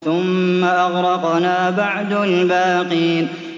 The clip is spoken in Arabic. ثُمَّ أَغْرَقْنَا بَعْدُ الْبَاقِينَ